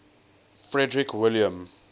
frederick william